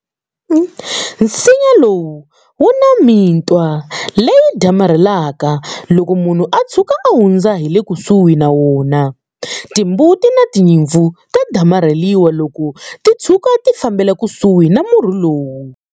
Nsinya lowu wu na mitwa leyi damarhelaka loko munhu a tshuka a hundza hi le kusuhi na wona. Timbuti na tinyimpfu ta damarheliwa loko ti tshuka ti fambela kusuhi na murhi lowu.